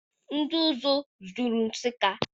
Ndị ụzụ juru Nsụka.